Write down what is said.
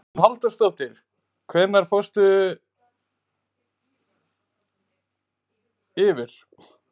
Hugrún Halldórsdóttir: Hvenær hófst dagurinn hjá ykkur?